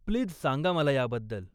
Please सांगा मला याबद्दल.